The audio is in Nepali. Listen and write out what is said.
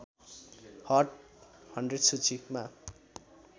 हट १०० सूचीमा